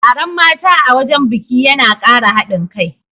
Taron mata a wajen biki yana Kara haɗin kai